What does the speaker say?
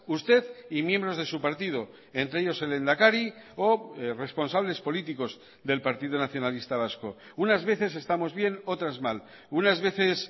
usted y miembros de su partido entre ellos el lehendakari o responsables políticos del partido nacionalista vasco unas veces estamos bien otras mal unas veces